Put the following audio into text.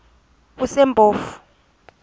kusempofu